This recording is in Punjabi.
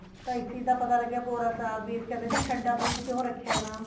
ਤਾਂ ਇਸ ਚੀਜ਼ ਦਾ ਪਤਾ ਲੱਗਿਆ ਭੋਰਾ ਸਾਹਿਬ ਵੀ ਅਸੀਂ ਕਹਿੰਦੇ ਸੀ ਠੰਡਾ ਬੁਰਜ ਕਿਉ ਰੱਖਿਆ ਹੈ ਇਹਦਾ ਨਾਮ